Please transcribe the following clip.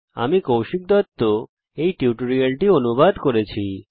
আমি কৌশিক দত্ত এই টিউটোরিয়ালটি অনুবাদ করেছি